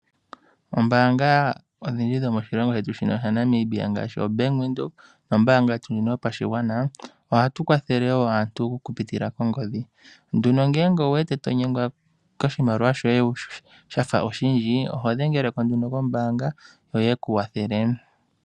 Oombanga odhindji dhomoshilongo shetu sha Namibia ngaashi ombaanga yaVenduka nombaanga ndjono yopashigwana ohadhi kwathele woo aantu okupitila kongodhi. Ngele owuwete tonyengwa koshimaliwa shoye shafa oshindji ohodhengeleko nduno kombaanga yo yekukwathele